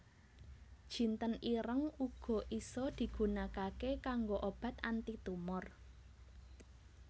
Jinten ireng uga isa digunakaké kanggo obat anti tumor